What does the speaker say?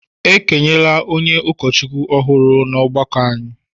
E kenyela onye ụkọchukwu ọhụrụ n’ọgbakọ anyị